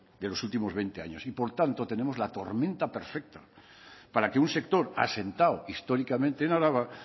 de los últimos veinte años y por tanto tenemos la tormenta perfecta para que un sector asentado históricamente en araba